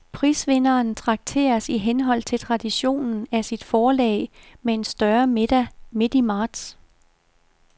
Prisvinderen trakteres i henhold til traditionen af sit forlag med en større middag midt i marts.